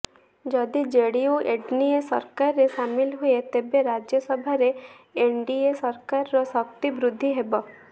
ଯଦି JDU NDA ସରକାରରେ ସାମିଲ ହୁଏ ତେବେ ରାଜ୍ୟସଭାରେ ଏନଡିଏ ସରକାରର ଶକ୍ତି ବୃଦ୍ଧି ହେବ